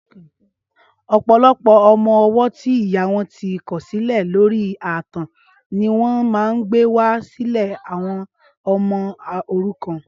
Ọpọlọpọ ọmọ ọwọ ti ìyá wọn ti kọ̀silẹ̀ lóri ààtàn niwọn mà n gbéwá silé awọm ọmọ órúkàn